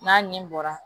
N'a nin bɔra